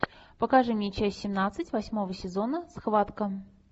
покажи мне часть семнадцать восьмого сезона схватка